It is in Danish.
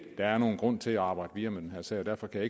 der er nogen grund til at arbejde videre med den her sag og derfor kan